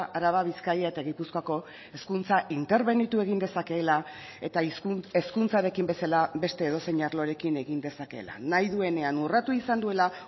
araba bizkaia eta gipuzkoako hezkuntza interbenitu egin dezakeela eta hezkuntzarekin bezala beste edozein arlorekin egin dezakeela nahi duenean urratu izan duela